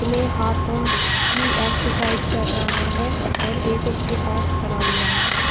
अपने हाथों की एक्सरसाइज कर रहा है और एक उसके पास खड़ा हुआ है।